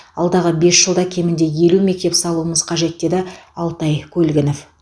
алдағы бес жылда кемінде елу мектеп салуымыз қажет деді алтай көлгінов